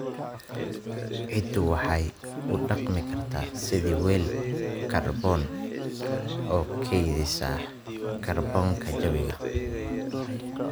Ciiddu waxay u dhaqmi kartaa sidii weel kaarboon, oo kaydisa kaarboonka jawiga.